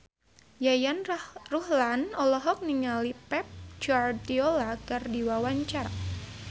Yayan Ruhlan olohok ningali Pep Guardiola keur diwawancara